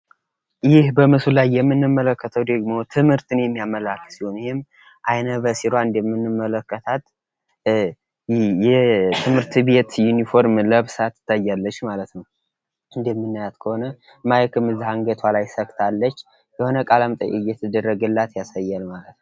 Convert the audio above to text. ይህ በምስሉ ላይ የምንመለከተው ደግሞ ትምህርትን የሚያመላክት ሲሆን። ይህም አይነ በሲሯ እንደምንመለከታት የትምህርት ቤት ዩኒፎርም ለብሳ ትታያለች ማለት ነው። እንደምናያት ከሆነ ማይክም ካንገቷ ላይ ሰክታለች። የሆነ ቃለመጠይቅ እየቸደረገላት ያሳያል ማለት ነው።